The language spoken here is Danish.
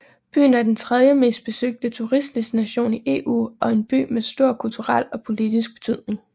Byen er den tredjemest besøgte turistdestination i EU og en by med stor kulturel og politisk betydning